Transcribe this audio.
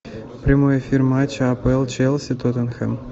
прямой эфир матча апл челси тоттенхэм